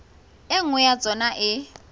e nngwe ya tsona e